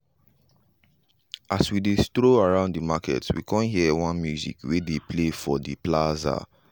as we just dey stroll around the market we con hear one music wey dey play for the plaza.